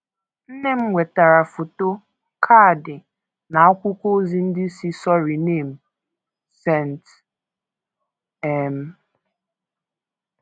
Nne m nwetara foto, kaadị, na akwụkwọ ozi ndị si Suriname, St. um